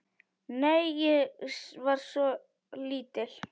Nei, ég var svo lítil.